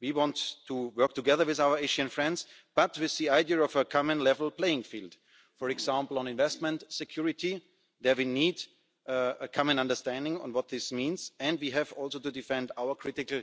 We want to work together with our Asian friends, but with the idea of a common level playing field. For example, on investment security we need a common understanding of what this means and we have to defend our critical